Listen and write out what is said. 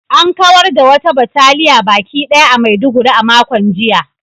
An kawar da wata bataliya baki ɗaya a Maiduguri a makon jiya